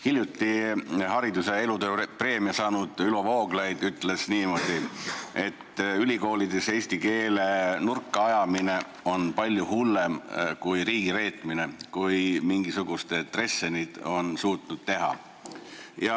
Hiljuti hariduse elutööpreemia saanud Ülo Vooglaid on öelnud, et ülikoolides eesti keele nurka ajamine on palju hullem riigireetmine, kui mingisugused Dressenid on suutnud teha.